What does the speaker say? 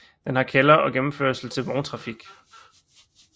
Den har kælder og gennemkørsel til vogntrafik